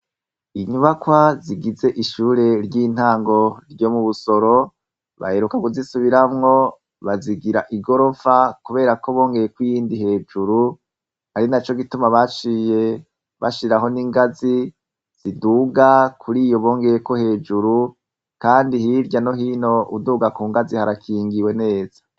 Inyubakwa zigize ishure ry'intango ryo mu Busoro baheruka kuzisubiramwo bazigira igorofa kubera ko bongeye ko iyindi hejuru ari na co gituma baye bashiraho n'ingazi ziduga kuri iyo bongeye ko hejuru kandi hirya no hino uduga ku ngazi harakingiwe neza.